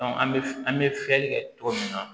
an bɛ an bɛ fiyɛli kɛ cogo min na